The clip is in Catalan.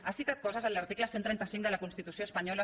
ha citat coses en l’article cent i trenta cinc de la constitució espanyola